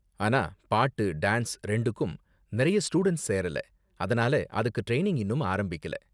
ஆனா பாட்டு, டான்ஸ் ரெண்டுக்கும் நிறைய ஸ்டூடண்ட்ஸ் சேரல, அதனால அதுக்கு ட்ரைனிங் இன்னும் ஆரம்பிக்கல.